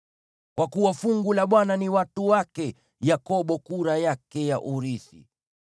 Kwa kuwa fungu la Bwana ni watu wake, Yakobo kura yake ya urithi.